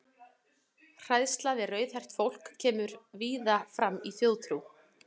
Hræðsla við rauðhært fólk kemur víða fram í þjóðtrú.